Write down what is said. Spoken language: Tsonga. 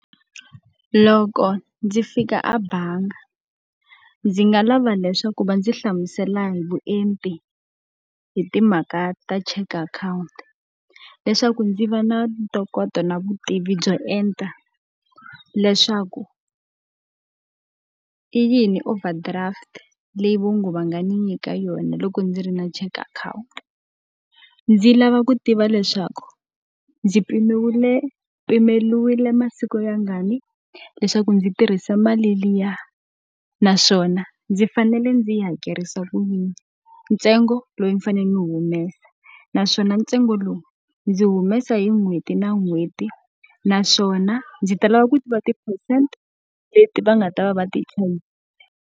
Loko ndzi fika a bangi, ndzi nga lava leswaku va ndzi hlamusela hi vuenti hi timhaka ta cheque account. Leswaku ndzi va na ntokoto na vutivi byo enta, leswaku i yini overdraft leyi va nge va nga ni nyika yona loko ndzi ri na cheque akhawunti? Ndzi lava ku tiva leswaku ndzi pimeriwile masiku mangani leswaku ndzi tirhisa mali liya? Naswona ndzi fanele ndzi yi hakerisa ku yini, ntsengo lowu ndzi faneleke ndzi wu humesa? Naswona ntsengo lowu ndzi humesa hi n'hweti na n'hweti? Naswona ndzi ta lava ku tiva ti-percent leti va nga ta va va ti .